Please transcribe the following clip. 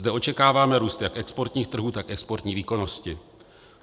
Zde očekáváme růst jak exportních trhů, tak exportní výkonnosti.